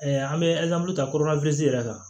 an bɛ ta yɛrɛ kan